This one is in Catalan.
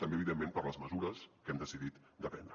també evidentment per les mesures que hem decidit de prendre